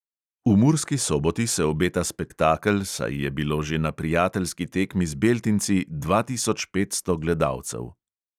V murski soboti se obeta spektakel, saj je bilo že na prijateljski tekmi z beltinci dva tisoč petsto gledalcev.